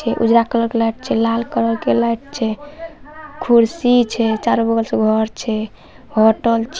उजला कलर के लाइट छै लाल कलर के लाइट छै कुर्सी छै चारो बगल से होटल छै।